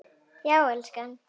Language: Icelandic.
Já, elskan?